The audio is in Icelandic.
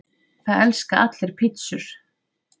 Það elska allir pizzur!